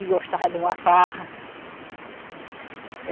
E gostava de uma farra.